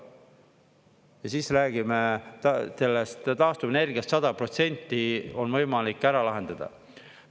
Ja siis räägime sellest taastuvenergiast: 100% on võimalik ära lahendada.